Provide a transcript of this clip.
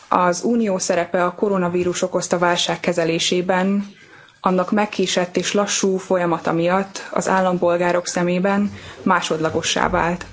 Az Unió szerepe a koronavírus okozta válság kezelésében, annak megkésett és lassú folyamata miatt az állampolgárok szemében másodlagossá vált.